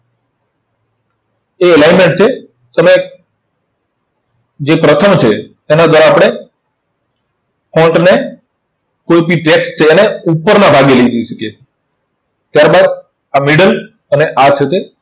એ line જ છે. તમે જે પ્રથમ છે, એને જરા આપણે ને સૌથી છે અને ઉપરના ભાગે લઇ જઈ શકીએ છે. ત્યાર બાદ આ middle અને આ છે તે